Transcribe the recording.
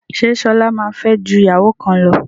Ṣé Ṣọlá máa fẹ́ ju ìyàwó kan lọ?